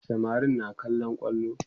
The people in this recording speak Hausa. samarin na kallon kwallo